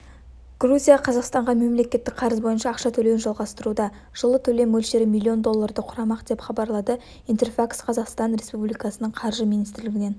грузия қазақстанға мемлекеттік қарыз бойынша ақша төлеуін жалғастыруда жылы төлем мөлшері миллион долларды құрамақ деп хабарлады интерфакс-қазақстанға республиканың қаржы министрлігінен